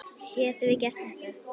Getum við þetta?